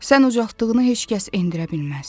Sən ucaltdığını heç kəs endirə bilməz.